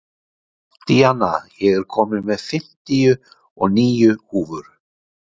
Díanna, ég kom með fimmtíu og níu húfur!